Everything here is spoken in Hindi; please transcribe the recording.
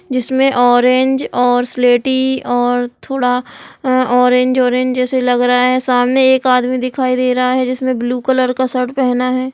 जिसमे ऑरेंज और स्लेटी और थोड़ा ऑरेंज ऑरेंज जैसे लग रहा है। सामने एक आदमी दिखाई दे रहा है जिसने ब्लू कलर का शर्ट पहना है ।